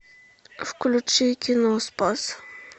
включи кино спас